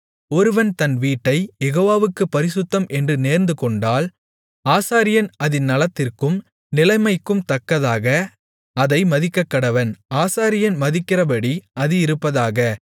ஒருவன் தன் வீட்டைக் யெகோவாவுக்குப் பரிசுத்தம் என்று நேர்ந்துகொண்டால் ஆசாரியன் அதின் நலத்திற்கும் நிலைமைக்கும் தக்கதாக அதை மதிக்கக்கடவன் ஆசாரியன் மதிக்கிறபடி அது இருப்பதாக